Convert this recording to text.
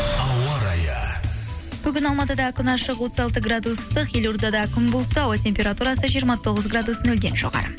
ауа райы бүгін алматыда күн ашық отыз алты градус ыстық елордада күн бұлтты ауа температурасы жиырма тоғыз градус нөлден жоғары